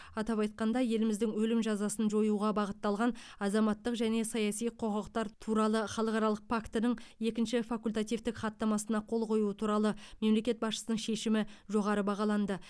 атап айтқанда еліміздің өлім жазасын жоюға бағытталған азаматтық және саяси құқықтар туралы халықаралық пактінің екінші факультативтік хаттамасына қол қою туралы мемлекет басшысының шешімі жоғары бағаланды